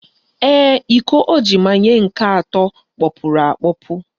Ee, iko o ji manye nke atọ kpọpuru akpọpu